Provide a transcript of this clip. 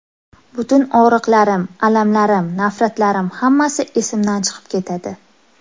Butun og‘riqlarim, alamlarim, nafratlarim hammasi esimdan chiqib ketadi.